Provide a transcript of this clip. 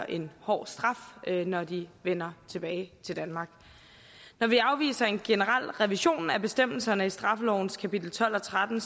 en hård straf når de vender tilbage til danmark når vi afviser en generel revision af bestemmelserne i straffelovens kapitel tolv og tretten